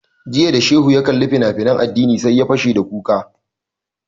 Jiya da shehu ya kalli fina finan addini sai ya fashe da kuka